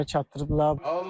Və bizlərə çatdırıblar.